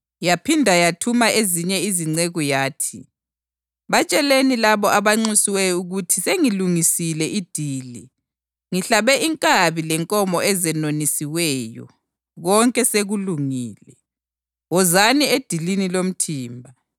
Yaphinda yathuma ezinye izinceku yathi, ‘Batsheleni labo abanxusiweyo ukuthi sengililungisile idili. Ngihlabe inkabi lenkomo ezinonisiweyo, konke sekulungile. Wozani edilini lomthimba.’